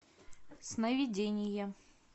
сновидение